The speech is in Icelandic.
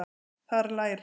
Þar læra